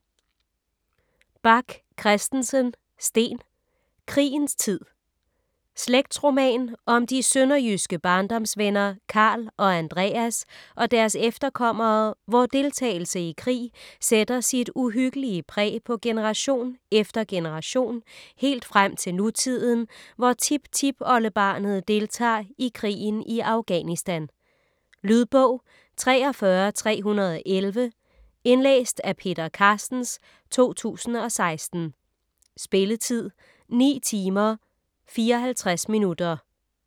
Bach Christensen, Steen: Krigens tid Slægtsroman om de sønderjyske barndomsvenner Karl og Andreas og deres efterkommere, hvor deltagelse i krig sætter sit uhyggelig præg på generation efter generation, helt frem til nutiden, hvor tiptipoldebarnet deltager i krigen i Afghanistan. Lydbog 43311 Indlæst af Peter Carstens, 2016. Spilletid: 10 timer, 54 minutter.